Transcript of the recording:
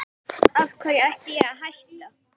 Af hverju ætti ég að hætta?